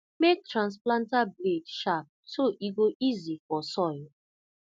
make transplanter blade sharp so e go easy for soil